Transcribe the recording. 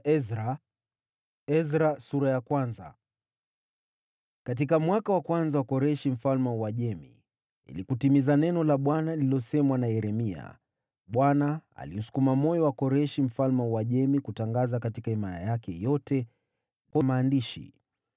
Katika mwaka wa kwanza wa utawala wa Koreshi mfalme wa Uajemi, ili kulitimiza neno la Bwana lililosemwa na nabii Yeremia, Bwana aliusukuma moyo wa Koreshi mfalme wa Uajemi kutangaza katika himaya yake yote kwa maandishi: